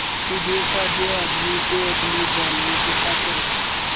सीधेसाधे आदमी को अपने जाल में फंसा कर